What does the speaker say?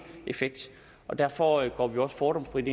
effekt og derfor går vi også fordomsfrit